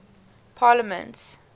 parliaments